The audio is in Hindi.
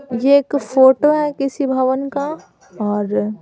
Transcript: यह एक फोटो है किसी भवन का और --